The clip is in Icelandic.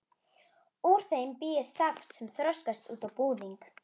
Úr þeim bý ég saft sem þroskast út á búðing.